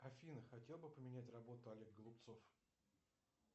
афина хотел бы поменять работу олег голубцов